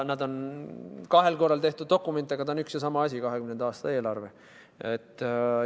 See on kahel korral tehtud dokument, aga ta on üks ja sama asi – 2020. aasta eelarve.